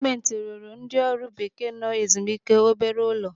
Gọọmenti ruru ndị ọrụ bekee nọ ezimike obere ụlọ.